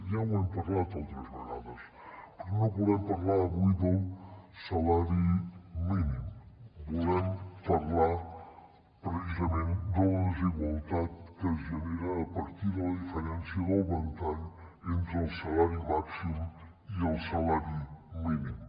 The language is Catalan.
ja ho hem parlat altres vegades però no volem parlar avui del salari mínim volem parlar precisament de la desigualtat que es genera a partir de la diferència del ventall entre el salari màxim i el salari mínim